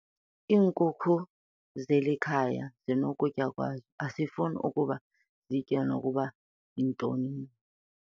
Iinkuku zeli khaya zinokutya kwazo asifuni ukuba zitye nokuba yintoni.